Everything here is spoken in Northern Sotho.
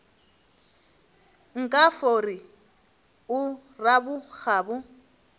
nka fo re o rabokgabo